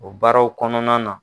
O baaraw kɔnɔna na